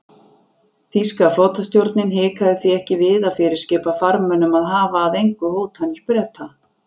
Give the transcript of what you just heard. Þýska flotastjórnin hikaði því ekki við að fyrirskipa farmönnum að hafa að engu hótanir Breta.